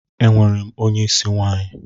Enwerem onye isi nwanyi.